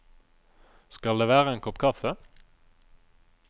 Skal det være en kopp kaffe?